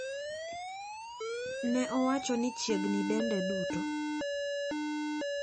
Ne owacho ni chiegni dende duto.